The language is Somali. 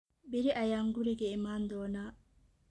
Berri ayaan guriga iman doonaa